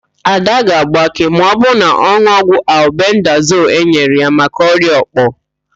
Ada ga-agbake ma ọbụrụ na ọ n̄ụọ ọgwụ albendazol enyere ya maka ọrịa òkpò.